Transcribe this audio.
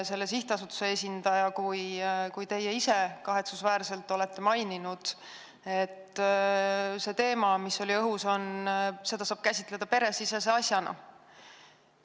Selle sihtasutuse esindaja on öelnud ja ka teie ise olete kahetsusväärselt maininud, et seda teemat, mis oli õhus, saab käsitleda peresisese asjana.